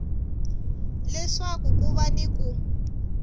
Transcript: leswaku ku va ni ku